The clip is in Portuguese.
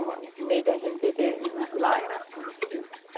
O meio da gente viver lá lá era assim, desse jeito.